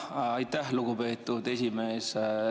Aitäh, lugupeetud esimees!